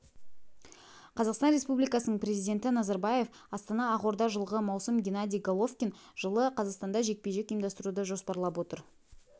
қазақстан республикасының президенті назарбаев астана ақорда жылғы маусым геннадий головкин жылы қазақстанда жекпе-жек ұйымдастыруды жоспарлап отыр